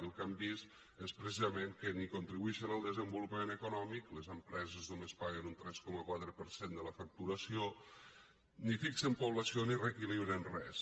i el que hem vist és precisament que ni contribueixen al desenvolupament econòmic les empreses només paguen un tres coma quatre per cent de la facturació ni fixen població ni reequilibren res